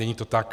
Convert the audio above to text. Není to tak.